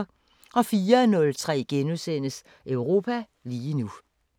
04:03: Europa lige nu *